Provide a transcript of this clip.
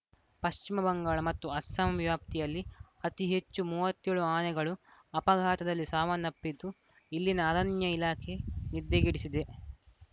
ಪಶ್ವಿಮ ಬಂಗಾಳ ಮತ್ತು ಅಸ್ಸಾಂ ವ್ಯಾಪ್ತಿಯಲ್ಲಿ ಅತಿ ಹೆಚ್ಚು ಮೂವತ್ತೆ ಳು ಆನೆಗಳು ಅಪಘಾತದಲ್ಲಿ ಸಾವನ್ನಪ್ಪಿದ್ದು ಇಲ್ಲಿನ ಅರಣ್ಯ ಇಲಾಖೆ ನಿದ್ದೆಗೆಡಿಸಿದೆ